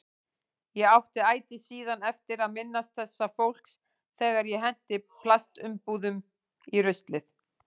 Ég átti ætíð síðan eftir að minnast þessa fólks þegar ég henti plastumbúðum í ruslið.